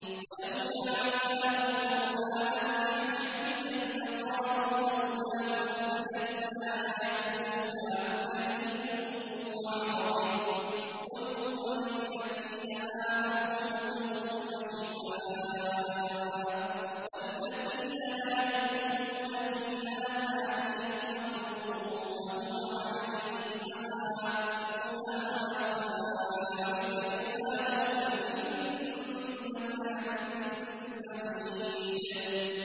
وَلَوْ جَعَلْنَاهُ قُرْآنًا أَعْجَمِيًّا لَّقَالُوا لَوْلَا فُصِّلَتْ آيَاتُهُ ۖ أَأَعْجَمِيٌّ وَعَرَبِيٌّ ۗ قُلْ هُوَ لِلَّذِينَ آمَنُوا هُدًى وَشِفَاءٌ ۖ وَالَّذِينَ لَا يُؤْمِنُونَ فِي آذَانِهِمْ وَقْرٌ وَهُوَ عَلَيْهِمْ عَمًى ۚ أُولَٰئِكَ يُنَادَوْنَ مِن مَّكَانٍ بَعِيدٍ